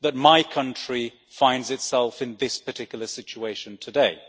my country finds itself in this particular situation today.